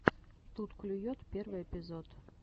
тут клюет первый эпизод